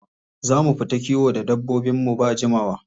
Za mu fita kiwo da dabbobinmu da jimawa.